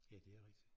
Ja det er rigtigt